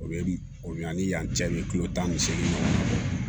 O ye o ɲani yan cɛ kilo tan ni seegin